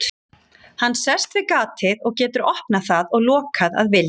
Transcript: Hann sest við gatið og getur opnað það og lokað að vild.